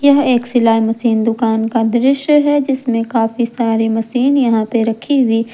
यह एक शिलाई मशीन दुकान का दृश्य है जिसमें काफी सारे मशीन यहां पे रखी हुई।